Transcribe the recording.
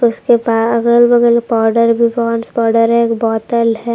इसके बा अगल बगल पाउडर भी पॉन्ड्स पाउडर है एक बोतल है।